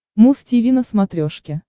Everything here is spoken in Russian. муз тиви на смотрешке